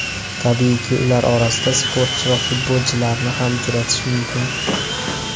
Tabiiyki, ular orasida sportchi va futbolchilarni ham uchratish mumkin.